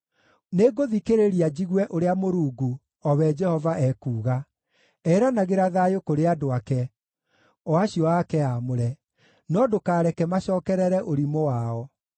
Nĩngũthikĩrĩria njigue ũrĩa Mũrungu, o we Jehova, ekuuga; eranagĩra thayũ kũrĩ andũ ake, o acio ake aamũre: no ndũkareke macookerere ũrimũ wao.